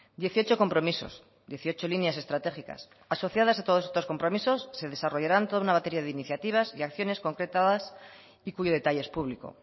dieciocho compromisos dieciocho líneas estratégicas asociadas a todos estos compromisos se desarrollaran toda una batería de iniciativas y acciones concretadas y cuyo detalle es público